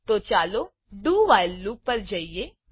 તો ચાલો do while loop do while loop પર જઈએ